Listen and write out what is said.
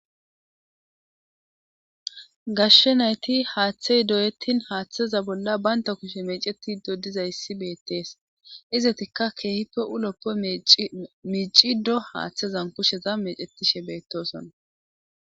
Gashshe nayti haaththey doyettin haaththeza bolla baynta kushe meceti do diza yssi beettees izetikka keehippe uloppo miici do haaththezan kusheza mecetishe beettosonna